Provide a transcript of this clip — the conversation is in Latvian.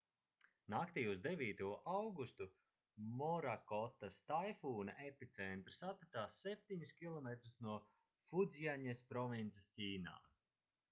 naktī uz 9. augustu morakotas taifūna epicentrs atradās septiņus kilometrus no fudzjaņas provinces ķīnā